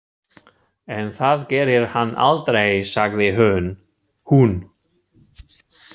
En það gerir hann aldrei, sagði hún.